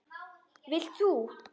Vilt þú?